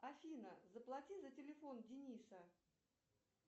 афина заплати за телефон дениса